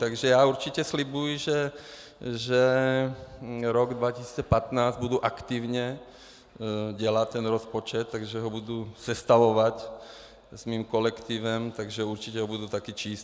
Takže já určitě slibuji, že rok 2015 budu aktivně dělat, ten rozpočet, takže ho budu sestavovat s mým kolektivem, takže určitě ho budu taky číst.